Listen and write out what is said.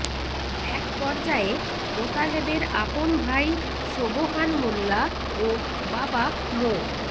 একপর্যায়ে মোতালেবের আপন ভাই সোবহান মোল্লা ও বাবা মো